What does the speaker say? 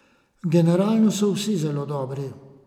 Generalno so vtisi zelo dobri.